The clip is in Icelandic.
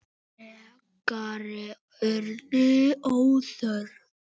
Frekari orð voru óþörf.